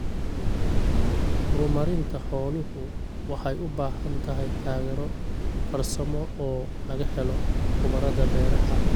Horumarinta xooluhu waxay u baahan tahay taageero farsamo oo laga helo khubarada beeraha.